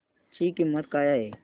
ची किंमत काय आहे